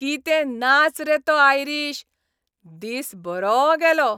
कितें नाच रे तो आयरीश! दीस बरो गेलो.